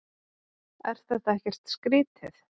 Er þetta ekkert skrýtið?